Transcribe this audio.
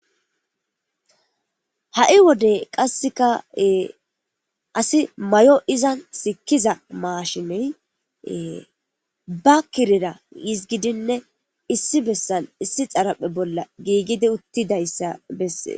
ha7i wodey qasseka asi mayo iza sikkiza maashiney ba kirera yizgidinne issi bessan issi xaraphe bolla giigidi uttidayssa bessee